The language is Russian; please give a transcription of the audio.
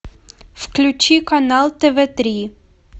включи канал тв три